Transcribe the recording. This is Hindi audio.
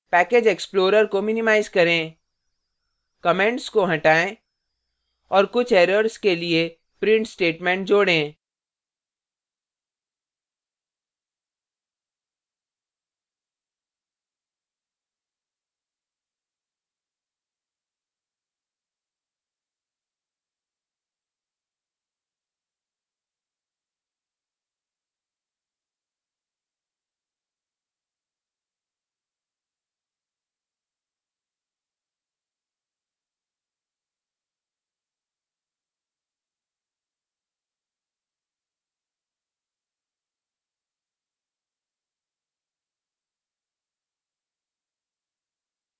package explorer को minimize करें comments को हटाएँ और कुछ errors के लिए print statement जोडें